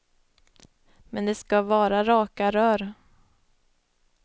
Men det skall vara raka rör.